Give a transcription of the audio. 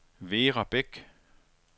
Vera Beck